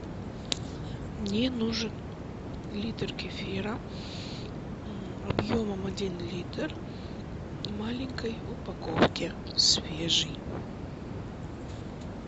мне нужен литр кефира объемом один литр в маленькой упаковке свежий